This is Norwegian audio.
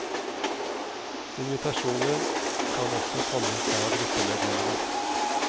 Invitasjoner kan også komme fra gruppemedlemmene.